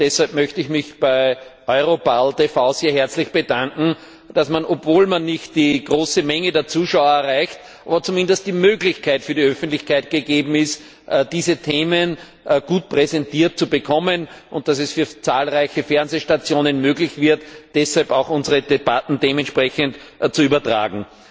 Deshalb möchte ich mich bei EuroparlTV sehr herzlich bedanken, dass dort, obwohl man nicht die große Masse der Zuschauer erreicht, zumindest eine Möglichkeit für die Öffentlichkeit gegeben ist, diese Themen gut präsentiert zu bekommen, und dass es deshalb für zahlreiche Fernsehstationen möglich wird, unsere Debatten auch dementsprechend zu übertragen.